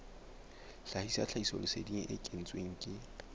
sebedisa tlhahisoleseding e kentsweng ke